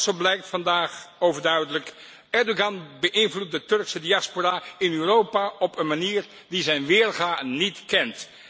Want, zo blijkt vandaag overduidelijk Erdogan beïnvloedt de Turkse diaspora in Europa op een manier die zijn weerga niet kent.